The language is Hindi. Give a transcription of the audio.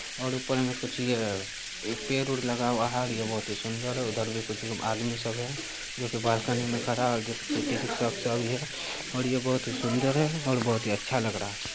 और ऊपर मैं कुछ यह पेड़-वोड़ लगा हुआ है यह बहुत ही सुन्दर उधर भी कुछ आदमी सब हैं जो कि बालकनी में खड़ा है और यह बहुत ही सुन्दर है और बहुत ही अच्छा लग रहा है।